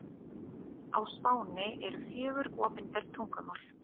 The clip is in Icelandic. Á Spáni eru fjögur opinber tungumál.